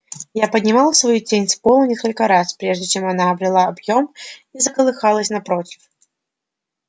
я поднимал свою тень с пола несколько раз прежде чем она обрела объём и заколыхалась напротив